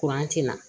ti na